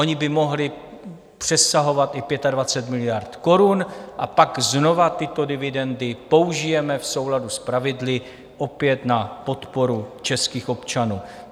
Ony by mohly přesahovat i 25 miliard korun a pak znova tyto dividendy použijeme v souladu s pravidly opět na podporu českých občanů.